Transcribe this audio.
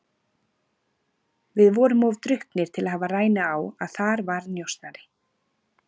Við vorum of drukknir til að hafa rænu á að þar var njósnari.